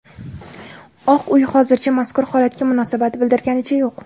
Oq uy hozircha mazkur holatga munosabat bildirganicha yo‘q.